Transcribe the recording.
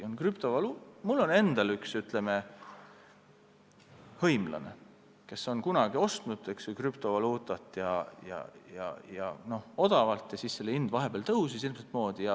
Mul on endal üks hõimlane, kes kunagi ostis odavalt krüptovaluutat ja siis selle hind vahepeal tõusis hirmsat moodi.